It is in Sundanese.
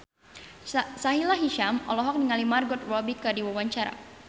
Sahila Hisyam olohok ningali Margot Robbie keur diwawancara